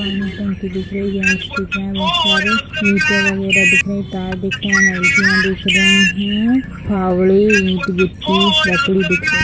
पानी टंकी दिख रही है बहुत सारे ईटे वगैरा दिख रहे है कार दिख रहे है दिख रही है फावड़े ईट गिट्टी लकड़ी दिख रही है।